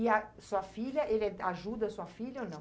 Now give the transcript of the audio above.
E a sua filha, ele ajuda a sua filha ou não?